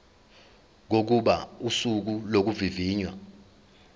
kokuba usuku lokuvivinywa